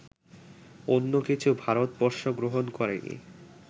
অন্য কিছু ভারতবর্ষ গ্রহণ করেনি